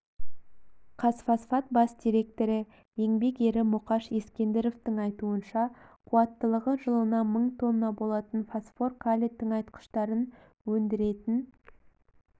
қазфосфат бас директоры еңбек ері мұқаш ескендіровтің айтуынша қуаттылығы жылына мың тонна болатын фосфор-калий тыңайтқыштарын өндіретін